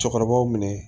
Cɛkɔrɔbaw minɛ